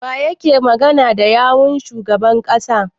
Waye yake magana da yawun shugaban ƙasar?